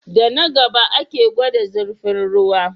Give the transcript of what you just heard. Da na gaba ake gwada zirfin ruwa